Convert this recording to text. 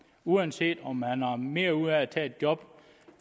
uanset om man har mere ud af at tage et job